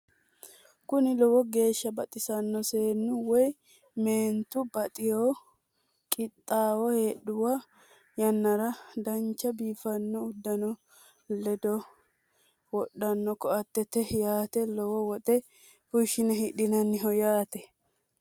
Kuni lowo geesha baxisanno seenu woy meenitu baxxitewo qixaawo hedhawo yannara danicha biifanno udano ledo wodhano koateet yaate lowo woxe fushine hidhinayiho yaate